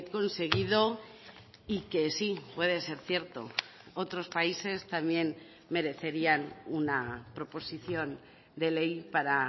conseguido y que sí puede ser cierto otros países también merecerían una proposición de ley para